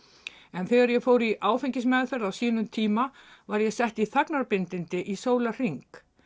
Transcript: en þegar ég fór í áfengismeðferð á sínum tíma var ég sett í þagnarbindindi í sólarhring